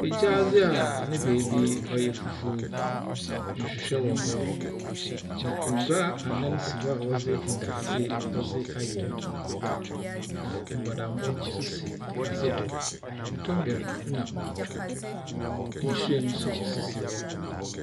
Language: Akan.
Gyaadze a ne beebi yɛ fufuw, nhwehwɛ wɔ hɔ, na ngua anan si hɔ a wɔdze ndadze wɔdze ayɛ, na mbɔdambɔ nso sisi adze do. Tɔmbɛr na nhyiren nso si hɔ.